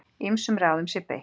Ýmsum ráðum sé beitt.